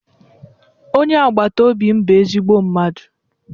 Onye agbata obi m bụ ezigbo mmadụ